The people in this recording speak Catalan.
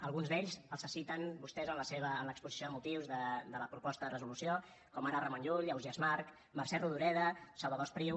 alguns d’ells els citen vostès en l’exposició de motius de la proposta de resolució com ara ramon llull ausiàs march mercè rodoreda salvador espriu